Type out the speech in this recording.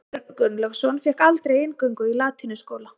Björn Gunnlaugsson fékk aldrei inngöngu í latínuskóla.